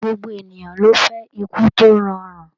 Gbogbo ènìyàn ló fẹ́ ikú tó rọrùn.